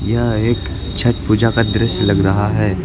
यह एक छठ पूजा का दृश्य लग रहा है।